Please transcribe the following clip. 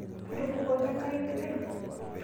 Ketubukoka ngare lturen